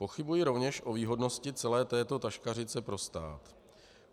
Pochybuji rovněž o výhodnosti celé této taškařice pro stát.